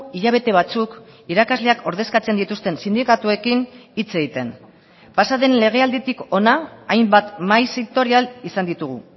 hilabete batzuk irakasleak ordezkatzen dituzten sindikatuekin hitz egiten pasa den legealditik hona hainbat mahai sektorial izan ditugu